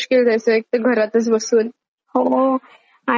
हो. आणि मग आत्ता सध्या ना ते केबीसी असतना.